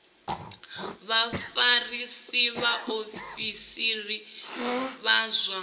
vha vhafarisa vhaofisiri vha zwa